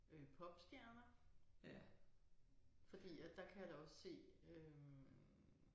Øh popstjerner fordi at der kan jeg da også se øh